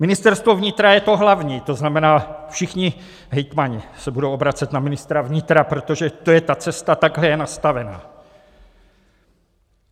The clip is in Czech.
Ministerstvo vnitra je to hlavní, to znamená všichni hejtmani se budou obracet na ministra vnitra, protože to je ta cesta, takhle je nastavena.